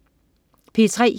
P3: